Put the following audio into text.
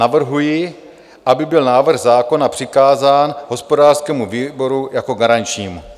Navrhuji, aby byl návrh zákona přikázán hospodářskému výboru jako garančnímu.